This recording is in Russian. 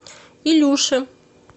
илюши